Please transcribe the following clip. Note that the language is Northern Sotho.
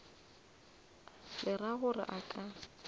le ra gore a ka